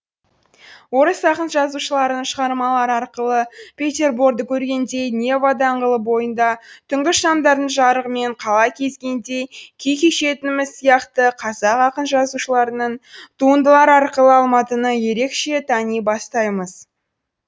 орыс ақын жазушыларының шығармалары арқылы петерборды көргендей нева даңғылы бойында түнгі шамдардың жарығымен қала кезгендей күй кешетініміз сияқты қазақ ақын жазушыларының туындылары арқылы алматыны ерекше тани бастаймыз